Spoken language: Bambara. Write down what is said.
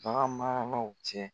Bagan maralaw cɛ.